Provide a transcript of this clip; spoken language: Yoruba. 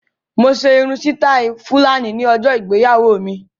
Mo ṣe irun sítáì Fúlàní ní ọjọ ìgbéyàwó mi.